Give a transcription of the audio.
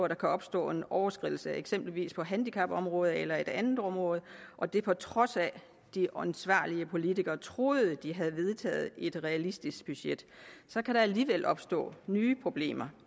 der kan opstå en overskridelse eksempelvis på handicapområdet eller på et andet område og det er på trods af at de ansvarlige politikere troede de havde vedtaget et realistisk budget så kan der alligevel opstå nye problemer